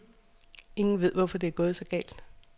Ingen ved, hvorfor det er gået så galt.